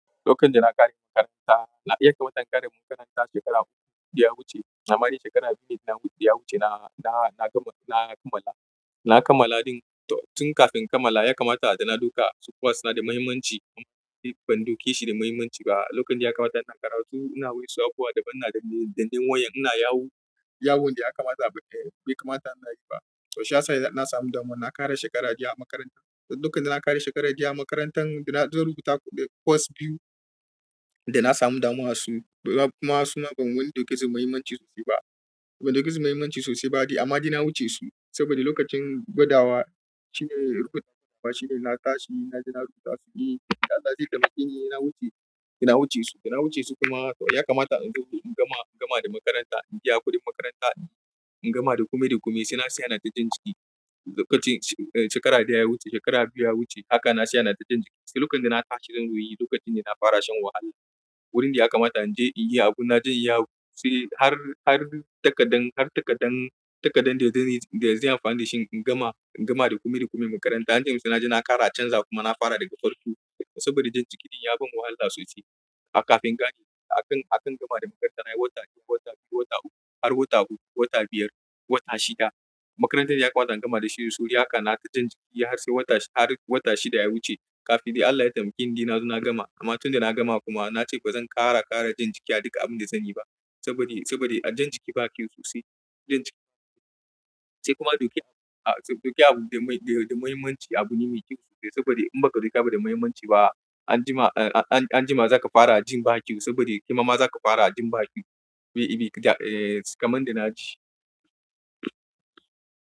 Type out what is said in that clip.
Lokacin da na ƙare makaranta, ya kamata na ƙare makaranta shekara uku da ya wuce. Na bari shekara biyu da ya wuce da ya wuce na na, na, na kammala, na kammala ɗin tun kafin in kammala ya kamata da na duka suƙuwa suna da mahimmanci amma ban ɗauke shi da mahimmanci ba. Lokacin da ya kamata ina karatu ina wa'insu abubuwa daban, ina dance dannen waya ina yawo, yawon da ya kamata bai, bai kamata inayi ba. To shi ya sa ni na samu damuwa na ƙara shekara biyu a makarantan. Lokacin da na ƙare shekara ɗaya a makarantar da na zan rubuta course biyu da na samu damuwa su kuma suna ban wani ɗauke su da mahimmanci sosai ba. Ban ɗauke su mahimmanci sosai ba de amma de na wuce su saboda lokacin gwadawa shine rubutawa shine na tashi na je na rubuta su biyu. Da Allah de ya taimakeni na wuce, na wuce su. Da na wuce su kuma ya kamata in zo in gama, gama da makaranta in biya kuɗin makaranta in gama da kome da kome sai na siya ina ta jan ciki. Lokacin shekara da ya wuce, shekara biyu ya wuce haka na tsaya ina ta jan ciki. Sai lokacin da na tashi zan yi lokacin da na fara shan wahala. Wurin da ya kamata in je in yi abun na je in yawo. Sai har, har takadan, har takadan, takadan da zan yi da zan yi amfani da shi in gama, in gama da kome da kome makaranta. Ancemin sai na je na ƙara canza kuma na fara daga farko saboda jan jiki ɗin ya ban wahala sosai. A kafin gani akan, akan gama da makaranta na yi wata biyu, wata biyu, wata uku har wata uku, wata biyar, wata shida. Makarantar ya kamata in gama da shi da sauri haka na ta jan ciki har sai wata shi, har wata shida ya wuce. Kafin dai Allah ya taimake ni dai na zo na gama amma tun da na gama kuma na ce ba zan ƙara, ƙara jan jiki a duk abin da zan yi ba saboda, saboda jan jiki ba kyau sosai. Jan jiki sai kuma ɗauki abu, ɗauki abu da mai, da mahimmanci abu ne mai kyau sosai saboda in baka ɗauka abu da mahimmanci ba anjima, anjima zaka fara jin ba kyau saboda kaima zaka fara jin ba kyau. Me, me, eh, kamar dai na ji.